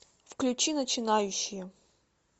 включи начинающие